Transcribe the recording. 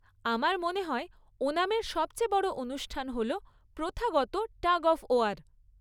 আমার মনে হয় ওনামের সবচেয়ে বড় অনুষ্ঠান হল প্রথাগত টাগ অফ ওয়ার।